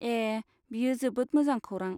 ए, बेयो जोबोद मोजां खौरां।